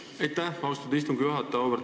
Aitäh, austatud istungi juhataja!